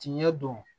Tiɲɛ don